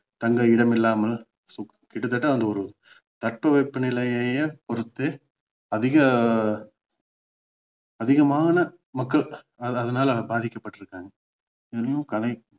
தங்க இடம் இல்லாமல் கிட்டத்தட்ட ஒரு தட்பவெப்ப நிலையையே பொறுத்து அதிக அதிகமான மக்கள் அது~ அதனால பாதிக்கப்பட்டிருக்காங்க இன்னும் கரை~